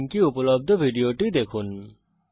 এই url এ উপলব্ধ ভিডিওটি দেখুন